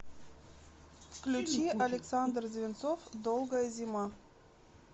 включи александр звинцов долгая зима